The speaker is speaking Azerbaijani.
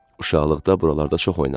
Uşaqlıqda buralarda çox oynamışdı.